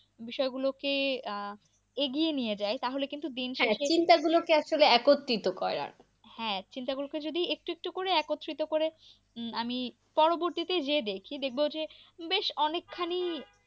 বিষয় গুলো কে আহ এগিয়ে নিয়ে যায় তাহলে কিন্তু দিন। হ্যাঁ চিন্তা গুলোকে আসলে একত্রিত করে আর কি। হ্যাঁ চিন্তা গুলোকে যদি একটু একটু করে একত্রিত করে। আমি পরবর্তীতে যে দেখি দেখব যে বেশ অনেক খানি,